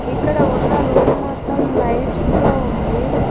ఇక్కడ ఉన్న రూమ్ మొత్తం లైట్స్ తో ఉంది.